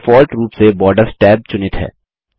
default रूप से borders tab चुनित है